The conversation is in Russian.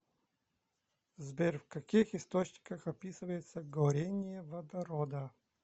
сбер в каких источниках описывается горение водорода